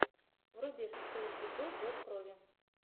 вруби шестой эпизод зов крови